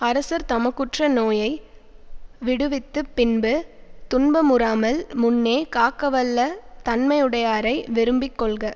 அரசர் தமக்குற்ற நோயை விடுவித்துப் பின்பு துன்பமுறாமல் முன்னே காக்கவல்ல தன்மையுடையாரை விரும்பிக் கொள்க